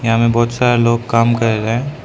यहां में बहुत सारे लोग काम कर रहे।